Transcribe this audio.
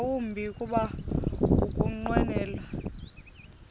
yawumbi kuba ukunqwenela